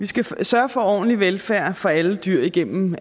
vi skal sørge for ordentlig velfærd for alle dyr igennem